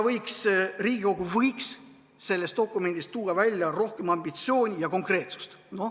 Riigikogu võiks selles dokumendis tuua välja rohkem ambitsiooni ja konkreetsust.